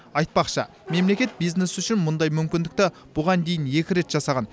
айтпақшы мемлекет бизнес үшін мұндай мүмкіндікті бұған дейін екі рет жасаған